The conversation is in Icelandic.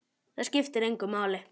Það skiptir engu máli.